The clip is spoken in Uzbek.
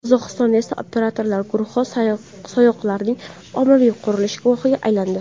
Qozog‘istonda esa operatorlar guruhi sayg‘oqlarning ommaviy qirilishi guvohiga aylandi.